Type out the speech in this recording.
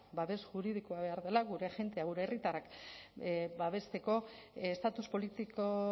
babes juridikoa behar dela gure jendea gure herritarrak babesteko estatus politiko